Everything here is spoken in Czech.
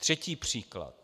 Třetí příklad.